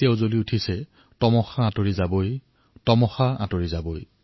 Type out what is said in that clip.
जल गया है दीप तो अँधियार ढलकर ही रहेगा